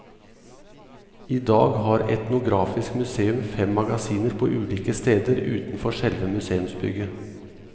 I dag har etnografisk museum fem magasiner på ulike steder utenfor selve museumsbygget.